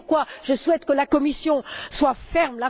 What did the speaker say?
C'est pourquoi je souhaite que la Commission soit ferme.